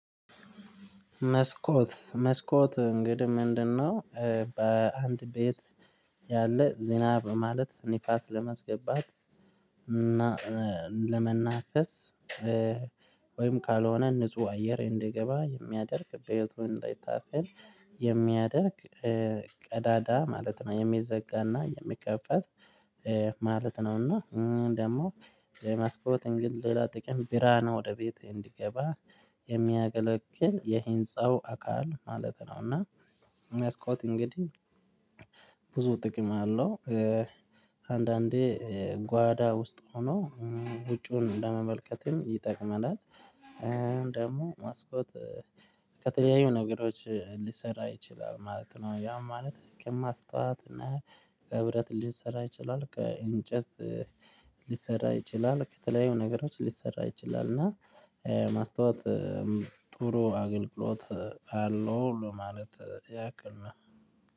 መስኮት መስኮት እንግዲህ ምንድነው? በአንድ ቤት ያለ ዝናብ ማለት ንፋስ ለማስገባት እና ለመናፈስ ወይም ካልሆነ ንጹህ አየር እንዲገባ የሚያደርግ ቤቱ እንዳይታፈን የሚያደርግ ቀዳዳ ማለት ነው የሚዘጋና የሚከፋት ማለት ነው። እና እኝህ ደግሞ የመስኮት ሌላ ጥቅም ብርሃን ወደ ቤት እንዲገባ የሚያገለግል የህንጸው አካል ማለት ነው። እና መስኮት እንግዲህ ብዙ ጥቅም አለው። አንዳንዴ ጓዳ ውስጥ ሆኖ ውጩውን ለመመልከትም ይጠቅመናል። ደግሞ መስኮት ከተለያዩ ነገሮች ሊሰራ ይችላል ማለት ነው። ያ ማለት ከማስተዋት እና ከብረት ሊሰራ ይችላል ከእንጨት ሊሰራ ይችላል ከተለያዩ ነገሮች ሊሰራ ይችላል እና ማስታወት ጥሩ አገልግሎት አለው ለማለት ያክል ነው